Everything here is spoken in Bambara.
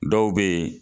Dɔw bɛ yen